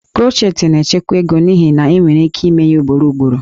Crochet na-echekwa ego n'ihi na enwere ike ime ya ugboro ugboro